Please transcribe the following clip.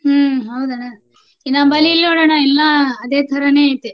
ಹ್ಮ್ ಹೌದನ ನಮ್ಮಲ್ಲಿ ಇಲ್ಲ್ ನೋಡಣ್ಣಾ, ಎಲ್ಲಾ ಅದೇ ಥರಾನೇ ಐತೆ.